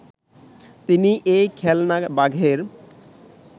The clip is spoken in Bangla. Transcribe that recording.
তিনি এই খেলনা বাঘের